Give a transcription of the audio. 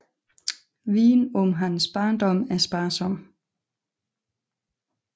Viden om hans barndom er sparsom